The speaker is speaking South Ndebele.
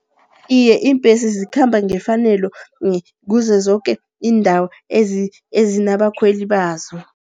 Iye, iimbesi zikhamba ngefanelo kuzo zoke iindawo ezinabakhweli bazo.